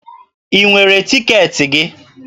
Ị nwere tiketi gị?